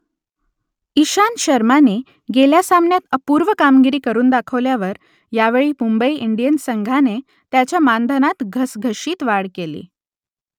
इशांत शर्माने गेल्या सामन्यात अपूर्व कामगिरी करून दाखवल्यावर यावेळी मुंबई इंडियन्स संघाने त्याच्या मानधनात घसघशीत वाढ केली